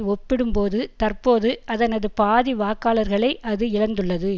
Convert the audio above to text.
ஒப்பிடும்போது தற்போது அதனது பாதி வாக்காளர்களை அது இழந்துள்ளது